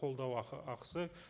қолдау ақы ақысы